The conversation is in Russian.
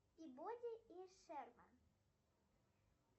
пибоди и шерман